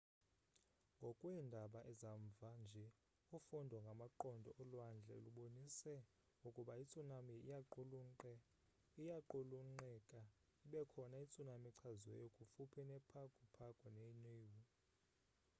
ngokweendaba zamva nje ufundo ngamaqondo olwandle lubonise ukuba itsunami iyaqulunqeka ibekhona itsunami echaziweyo kufuphi ne pago pago ne niue